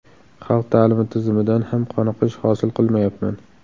Xalq ta’limi tizimidan ham qoniqish hosil qilmayapman.